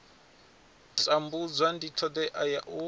tambudza ndi thodea ya u